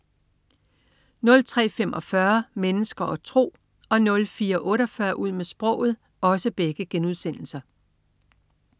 03.45 Mennesker og tro* 04.48 Ud med sproget*